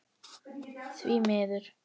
Því miður.